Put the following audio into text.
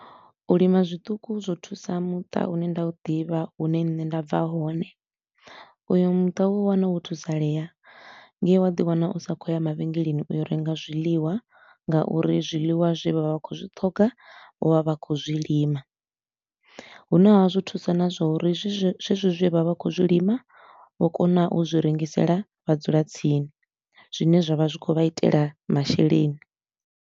U lima zwiṱuku zwo thusa muta hune nda ḓivha hune nṋe nda bva hoṋe, u yo muṱa u wana wo thusalea nge wa ḓiwana u sa khou ya mavhengeleni u yo renga zwiḽiwa nga uri zwiḽiwa zwe vha vha vha khou zwi ṱhoga vho vha vha khou zwi lima. Hu na haa zwo thusa na zwa uri zwezwo zwe vha vha vha khou zwi lima, vho kona haa u zwi rengisela vhadzulatsini zwine zwa vha zwi khou vha itela masheleni.